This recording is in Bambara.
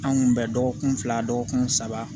Anw kun bɛ dɔgɔkun fila dɔgɔkun saba